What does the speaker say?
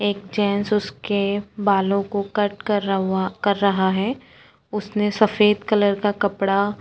एक चेन से उसके बालों को कट कर हुआ कर रहा है उसने सफेद कलर का कपडा --